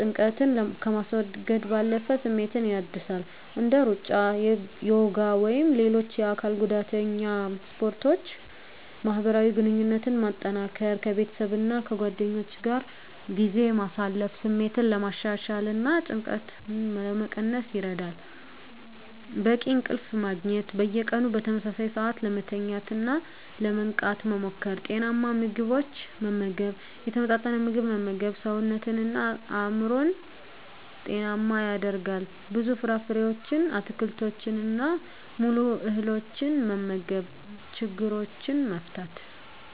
ጭንቀትን ከማስወገድ ባለፈ ስሜትን ያድሳል። እንደ ሩጫ፣ ዮጋ ወይም ሌሎች የአካል ጉዳተኛ ስፖርቶችን ማህበራዊ ግንኙነትን ማጠናከር ከቤተሰብና ከጓደኞች ጋር ጊዜ ማሳለፍ ስሜትን ለማሻሻልና ጭንቀትን ለመቀነስ ይረዳል። በቂ እንቅልፍ ማግኘት። በየቀኑ በተመሳሳይ ሰዓት ለመተኛትና ለመንቃት መሞከር። ጤናማ ምግብ መመገብ የተመጣጠነ ምግብ መመገብ ሰውነትንና አእምሮን ጤናማ ያደርጋል። ብዙ ፍራፍሬዎችን፣ አትክልቶችንና ሙሉ እህሎችን መመገብ። ችግሮችን መፍታት።